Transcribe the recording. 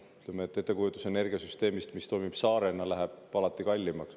Ütleme, ettekujutus energiasüsteemist, mis toimib saarena, läheb alati kallimaks.